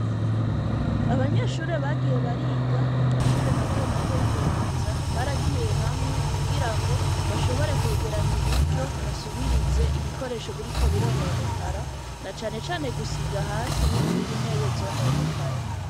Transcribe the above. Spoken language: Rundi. Abanyeshure bagiye bariga ku mashure mato mato y'ibubanza baragiye hamwe kugira ngo bashobore kwegeranya uburyo basubirize ibikoresho biri ko birononekara na canecane gusiga hasi n'izindi ntebe zononekaye.